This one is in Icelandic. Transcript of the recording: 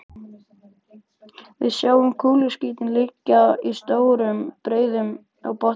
Við sjáum kúluskítinn liggja í stórum breiðum á botninum.